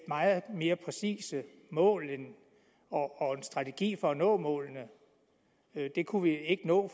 meget mere præcise mål og en strategi for at nå målene det kunne vi ikke nå